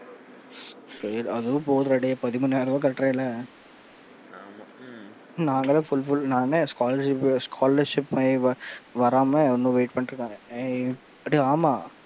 சேரி அதுவே போதும்டா டேய் பதிமூனாயிர ரூபாய் கட்டறில்ல, ஆமா ம்ம் நாங்க எல்லா fulfill நான்லாம் scholarship scholarship வராம இன்னும் wait பண்ணிட்டு இருக்காங்க அட ஆமா,